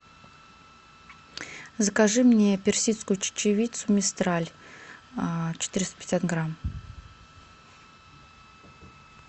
закажи мне персидскую чечевицу мистраль четыреста пятьдесят грамм